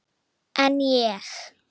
En ég?